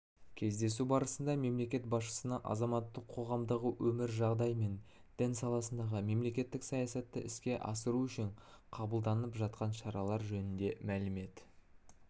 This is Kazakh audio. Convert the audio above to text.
кездесу барысында мемлекет басшысына азаматтық қоғамдағы қазіргі жағдай мен дін саласындағы мемлекеттік саясатты іске асыру үшін қабылданып жатқан шаралар жөнінде мәлімет